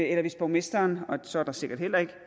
eller hvis borgmesteren og så er der sikkert heller ikke